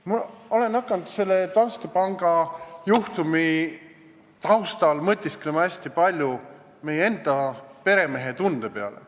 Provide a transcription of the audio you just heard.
Ma olen hakanud selle Danske panga juhtumi taustal hästi palju mõtisklema meie enda peremehetunde teemal.